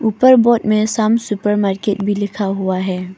ऊपर बोर्ड में Sham supermarket भी लिखा हुआ है।